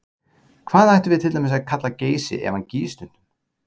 Hvað ættum við til dæmis að kalla Geysi ef hann gýs stundum?